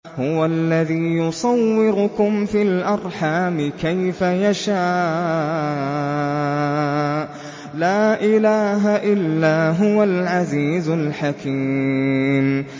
هُوَ الَّذِي يُصَوِّرُكُمْ فِي الْأَرْحَامِ كَيْفَ يَشَاءُ ۚ لَا إِلَٰهَ إِلَّا هُوَ الْعَزِيزُ الْحَكِيمُ